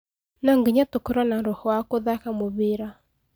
No nginya tũkorwo na roho wa gũthaka mũbira